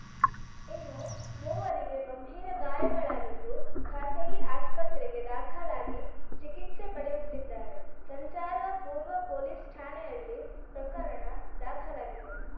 ಇನ್ನು ಮೂವರಿಗೆ ಗಂಭೀರ ಗಾಯಗಳಾಗಿದ್ದು ಖಾಸಗಿ ಆಸ್ಪತ್ರೆಗೆ ದಾಖಲಾಗಿ ಚಿಕಿತ್ಸೆ ಪಡೆಯುತ್ತಿದ್ದಾರೆ ಸಂಚಾರ ಪೂರ್ವ ಪೊಲೀಸ್‌ ಠಾಣೆಯಲ್ಲಿ ಪ್ರಕರಣ ದಾಖಲಾಗಿದೆ